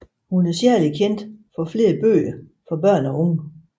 Hun er særlig kendt for flere bøger for børn og unge